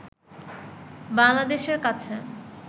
বাংলাদেশের কাছে